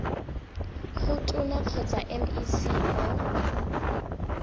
go tona kgotsa mec mo